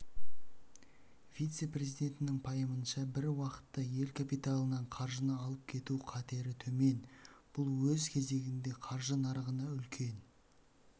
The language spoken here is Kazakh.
вице-президентінің пайымынша бір уақытта ел капиталынан қаржыны алып кету қатерітөмен бұл өз кезегінде қаржы нарығына үлкен